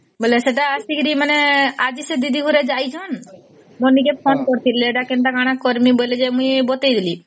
ବୋଇଲେ ସେଟା ଅସୀକିରି ମାନେ ଆଜି ସେ ଦିଦି ଗୁର ଯଇସନ ମନିକେ phone କରିଥିଲେ ଏଟା କେନ୍ତା କଣ କରିବେ ବୋଲି ଯେ ମୁଇ ବତେଇ ଦେଲି